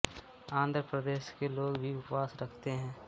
आंध्र प्रदेश के लोग भी उपवास रखते हैं